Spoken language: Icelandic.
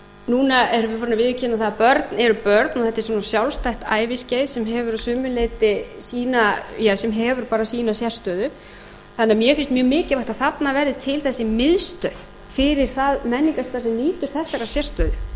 núna erum við farin að viðurkenna að börn eru börn og þetta er svona sjálfstætt æviskeið sem hefur bara sína sérstöðu þannig að mér finnst mjög mikilvægt að þarna verði til þessi miðstöð fyrir það menningarstarf sem lýtur þessarar